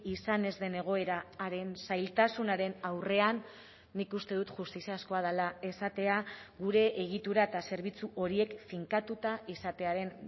izan ez den egoera haren zailtasunaren aurrean nik uste dut justiziazkoa dela esatea gure egitura eta zerbitzu horiek finkatuta izatearen